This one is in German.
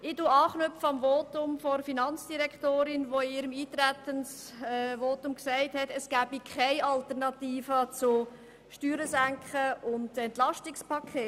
Ich knüpfe an das Votum der Finanzdirektorin an, die in ihrem Eintretensvotum gesagt hat, es gebe keine Alternative zur Senkung der Steuern und dem EP.